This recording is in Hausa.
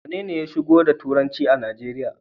Wanene ya shigo da turanci a Najeriya?